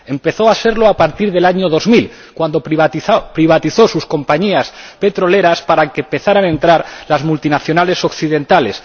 Empezó a serlo a partir del año 2000, cuando privatizó sus compañías petroleras para que empezaran a entran las multinacionales occidentales.